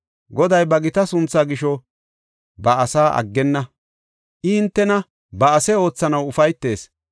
Goday ba gita sunthaa gisho ba asaa aggenna; I hintena ba ase oothanaw ufaytees.